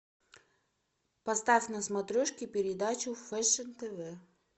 поставь на смотрешке передачу фэшн тв